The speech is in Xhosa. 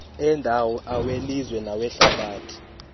endawo awelizwe nawehlabathi